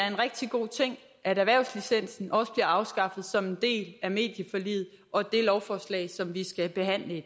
en rigtig god ting at erhvervslicensen også bliver afskaffet som en del af medieforliget og det lovforslag som vi skal behandle i